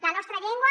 la nostra llengua